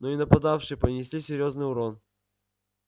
но и нападавшие понесли серьёзный урон